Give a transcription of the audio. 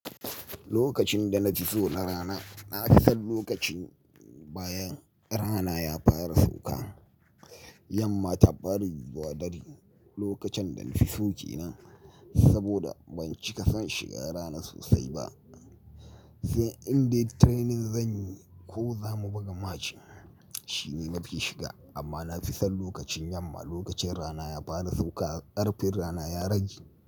Lokacin da na fi tso na rana, na fi son lokacin bayan rana ya fara sauka. Yamma ta bari gwadari lokacin da na fi so ke nan saboda ban cika san shiga rana sosai ba. Sai in dai training zan yi ko za mu buga match shine mafi shiga amma na fi san lokacin yamma. Lokacin rana ya fara sauka, ƙarfin rana ya rage.